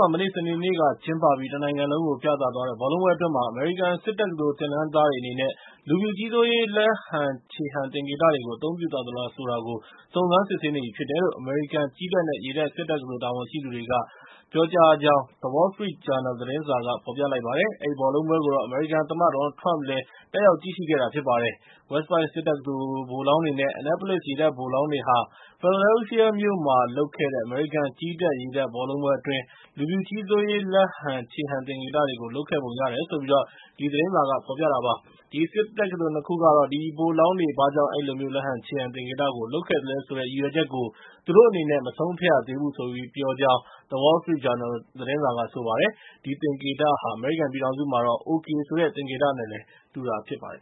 ှာ မနေ့ စနေနေ့ကကျင်းပပြီး တနိုင်ငံလုံးကို ပြသသွားတဲ့ ဘောလုံးပွဲအတွင်း အမေရိကန် စစ်တက္ကသိုလ် သင်တန်းသားတွေအနေနဲ့ လူဖြူကြီးစိုးရေး လက်ဟန်ခြေဟန် သင်္ကေတတွေကို အသုံးပြုသွားသလား ဆိုတာကို စုံစမ်းစစ်ဆေးနေပြီလို့ အမေရိကန်ကြည်းတပ်နဲ့ ရေတပ် စစ်တက္ကသိုလ် တာဝန်ရှိသူတွေက ပြောတယ်လို့ The Wall Street Journal သတင်းစာက ဖော်ပြလိုက်ပါတယ်။ အဲဒီဘောလုံးပွဲကိုတော့ အမေရိကန်သမ္မတ Donald Trump လည်း တက်ရောက်ကြည့်ရှုခဲ့တာ ဖြစ်ပါတယ်။ West Point စစ်တက္ကသိုလ် ဗိုလ်လောင်းတွေနဲ့ Annapolis ရေတပ်ဗိုလ်လောင်းတွေဟာ Philadelphia မြို့မှာ လုပ်ခဲ့တဲ့ အမေရိကန်ကြည်းတပ် ရေတပ် ဘောလုံးပွဲအတွင်း လူဖြူကြီးစိုးရေး လက်ဟန်ခြေဟန် သင်္ကေတတွေကို လုပ်ခဲ့ပုံရတယ်လို့ သတင်းစာက ဖော်ပြပါတယ်။ အဲဒီစစ်တက္ကသိုလ် ၂ ခုကတော့ အဲဒီဗိုလ်လောင်းတွေက ဘာကြောင့် အဲဒီလိုမျိုး လက်ဟန်ခြေဟန် သင်္ကေတကို လုပ်သလဲဆိုတဲ့ ရည်ရွယ်ချက်ကို သူတို့အနေနဲ့ မဆုံးဖြတ်ရသေဘူးလို့ ပြောတယ်ဆိုပြီး The Wall Street Journal သတင်းစာက ဆိုပါတယ်။ အဲဒီသင်္ကေတဟာ အမေရိကန်ပြည်ထောင်စုမှာတော့ OK ဆိုတဲ့ သင်္ကေတနဲ့လည်း တူတာဖြစ်ပါတယ်